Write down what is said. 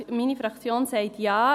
Deshalb sagt meine Fraktion Ja.